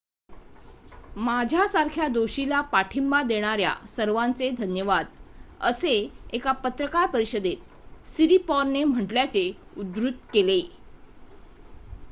माझ्यासारख्या दोषीला पाठिंबा देणाऱ्या सर्वांचे धन्यवाद'' असे एका पत्रकार परिषदेत सिरिपॉर्नने म्हटल्याचे उद्धृत केले